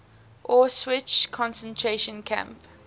auschwitz concentration camp